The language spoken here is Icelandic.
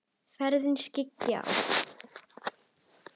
Ferðina skyggi á.